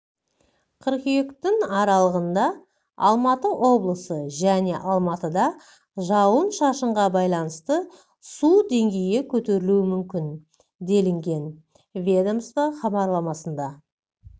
қыркүйектің аралығында алматы облысы және алматыда жауын шашынға байланысты су деңгейі көтерілуі мүмкін делінген ведомство хабарламасында